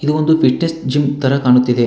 ಇದು ಒಂದು fitness gym ತರ ಕಾಣಿಸುತ್ತಿದೆ.